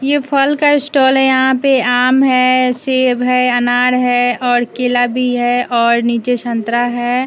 ये फल का स्टॉल है यहां पे आम है सेब है अनार है और केला भी है और नीचे संतरा है।